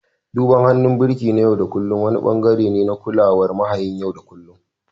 Duban hannun birki na yau da kullun wani ɓangare ne na kulawar mahayin yau da kullun